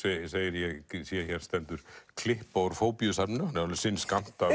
ég sé að hér stendur klippa úr fóbíusafninu hann hefur sinnt skammt af